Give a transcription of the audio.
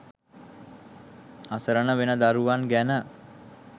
අසරණ වෙන දරුවන් ගැන